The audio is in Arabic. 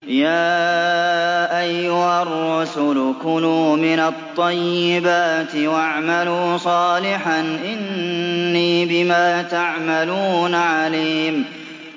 يَا أَيُّهَا الرُّسُلُ كُلُوا مِنَ الطَّيِّبَاتِ وَاعْمَلُوا صَالِحًا ۖ إِنِّي بِمَا تَعْمَلُونَ عَلِيمٌ